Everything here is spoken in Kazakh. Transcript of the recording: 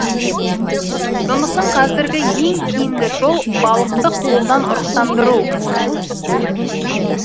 сондықтан қазіргі ең тиімді жол балықты қолдан ұрықтандыру